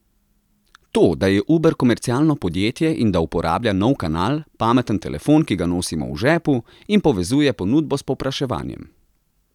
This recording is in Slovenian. To, da je Uber komercialno podjetje in da uporablja nov kanal, pameten telefon, ki ga nosimo v žepu, in povezuje ponudbo s povpraševanjem.